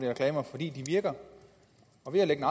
reklamer fordi de virker og ved at lægge